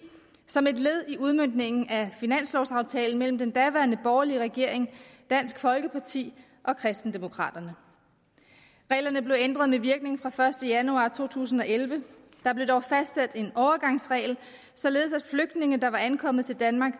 som et led i udmøntningen af finanslovsaftalen mellem den daværende borgerlige regering dansk folkeparti og kristendemokraterne reglerne blev ændret med virkning fra den første januar to tusind og elleve der blev dog fastsat en overgangsregel således at flygtninge der var ankommet til danmark